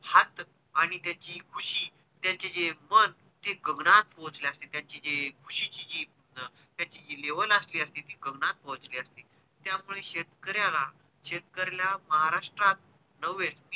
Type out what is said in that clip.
हाथ आणि त्याची कुशी त्यांचे जे मन हे गगनात पोचले असते त्यांचे जी ख़ुशी ची level असती ती गगनात पोचली असती त्यामुळे शेतकऱ्याला शेतकऱ्या महाराष्ट्रात नव्हे